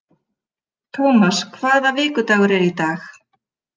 Thomas, hvaða vikudagur er í dag?